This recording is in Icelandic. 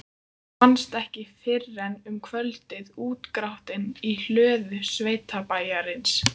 Hann fannst ekki fyrren um kvöldið, útgrátinn í hlöðu sveitabæjarins.